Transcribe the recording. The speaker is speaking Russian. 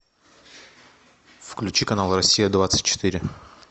включи канал россия двадцать четыре